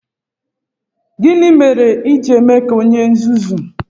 Gini mere i ji eme ka onye nzuzu?